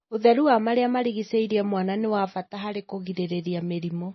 ũtheru wa marĩa marigicĩirie mwana nĩ wa bata harĩ kũgirĩrĩria mĩrimũ.